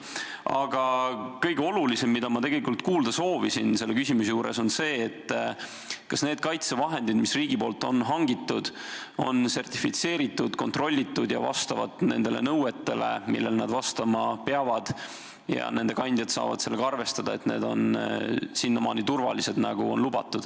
Aga kõige olulisem, mida ma tegelikult soovisin kuulda selle küsimuse juures, on see, kas need kaitsevahendid, mis riik on hankinud, on sertifitseeritud, kontrollitud ja vastavad nendele nõuetele, millele nad vastama peavad, nii et nende kandjad saavad sellega arvestada, et need on täpselt nii turvalised, nagu on lubatud.